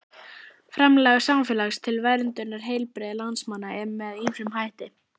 Framlag samfélagsins til verndunar heilbrigði landsmanna er með ýmsum hætti.